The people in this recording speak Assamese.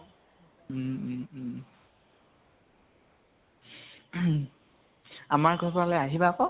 ঔম উম উম আমাৰ ঘৰ খনলৈ আহিবা আকৌ।